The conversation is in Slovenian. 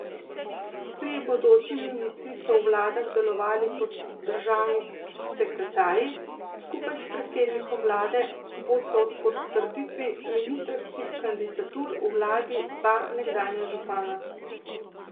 Trije bodoči ministri so v vladah delovali kot državni sekretarji, skupaj s predsednikom vlade bosta ob potrditvi ministrskih kandidatur v vladi dva nekdanja župana.